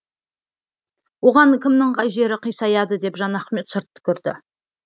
оған кімнің қай жері қисаяды деп жанахмет шырт түкірді